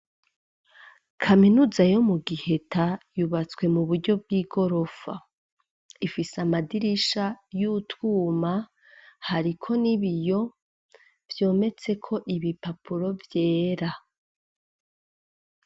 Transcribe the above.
Kaminuza yo mu giheta yubatswe mu buryo bw'igorofa ifise amadirisha y'utwuma hariko nibiyo byometse ko ibipapuro vyera.